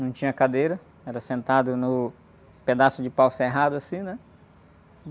Não tinha cadeira, era sentado no pedaço de pau serrado, assim, né?